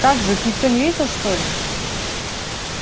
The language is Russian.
как же их никто не видел что ли